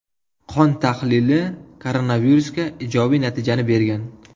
Qon tahlili koronavirusga ijobiy natijani bergan.